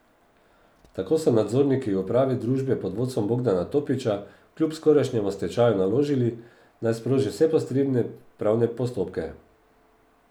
Tako so nadzorniki upravi družbe pod vodstvom Bogdana Topiča kljub skorajšnjemu stečaju naložili, naj sproži vse potrebne pravne postopke.